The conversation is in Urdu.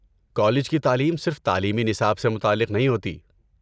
کالج کی تعلیم صرف تعلیمی نصاب سے متعلق نہیں ہوتی۔